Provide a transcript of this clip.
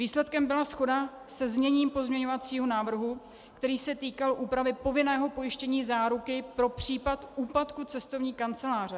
Výsledkem byla shoda se zněním pozměňovacího návrhu, který se týkal úpravy povinného pojištění záruky pro případ úpadku cestovní kanceláře.